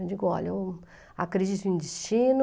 Eu digo, olha, um, a crise de um destino...